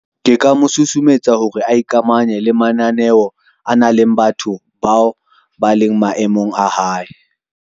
Ke ka mo susumetsa hore a ikamanye le mananeo, a nang le batho bao ba leng maemong a hae.